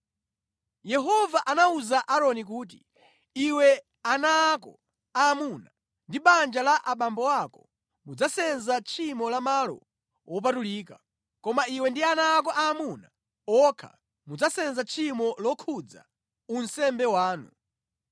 Yehova anawuza Aaroni kuti, “Iwe, ana ako aamuna ndi banja la abambo ako mudzasenza tchimo la malo wopatulika, koma iwe ndi ana ako aamuna okha mudzasenza tchimo lokhudza unsembe wanu.